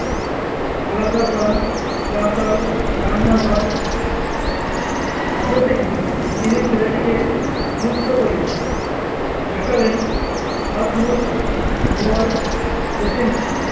আলাদা করা যা তার রান্না ঘর অবশেষে তিনি ছেলেটিকে মুক্ত করলেন দেখালেন হাত মুখ ধোয়ার বেসিনটি